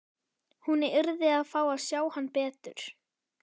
Hún yrði að fá að sjá hann betur.